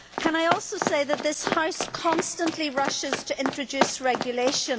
Can I also say that this House constantly rushes to introduce regulation.